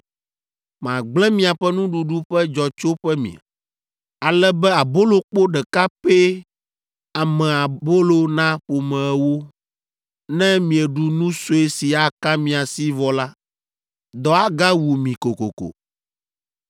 Magblẽ miaƒe nuɖuɖu ƒe dzɔtsoƒe me, ale be abolokpo ɖeka pɛ ame abolo na ƒome ewo. Ne mieɖu nu sue si aka mia si vɔ la, dɔ agawu mi kokoko.